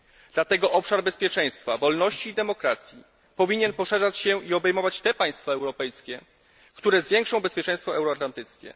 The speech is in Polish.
Dlatego obszar bezpieczeństwa, wolności i demokracji powinien poszerzać się i obejmować te państwa europejskie, które zwiększą bezpieczeństwo euroatlantyckie.